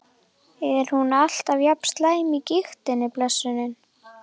Er hún alltaf jafn slæm af gigtinni, blessunin?